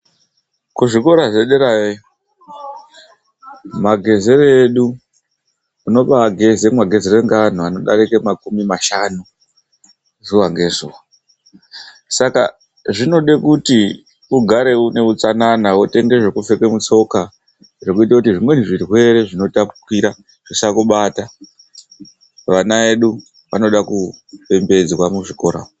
Kuzvikora zvederayo magezero edu, unobaa geza magezere ekunge antu adarika makore makumi mashanu zuva nezuva. Zvinoda kuti ugare une hutsanana, wotenga zvekupfeka mutsoka zvekuita kuti zvimweni zvirwere zvisakubata. Vana vedu vanoda kupembedzwa muzvikora umo.